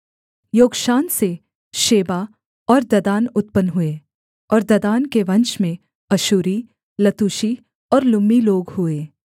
योक्षान से शेबा और ददान उत्पन्न हुए और ददान के वंश में अश्शूरी लतूशी और लुम्मी लोग हुए